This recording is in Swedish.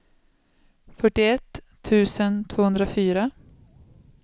fyrtioett tusen tvåhundrafyra